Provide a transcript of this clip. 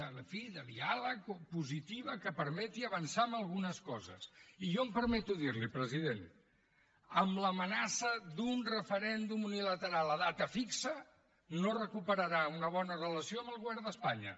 en fi de diàleg positiva que permeti avançar en algunes coses i jo em permeto dir li president amb l’amenaça d’un referèndum unilateral a data fixa no recuperarà una bona relació amb el govern d’espanya